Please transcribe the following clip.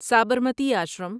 Sabarmati Ashram